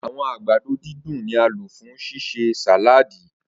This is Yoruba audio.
Awọn agbado didùn ni a lo fun ṣiṣe sàláàdì.